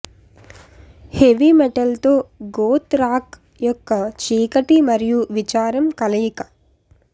heavy మెటల్తో goth rock యొక్క చీకటి మరియు విచారం కలయిక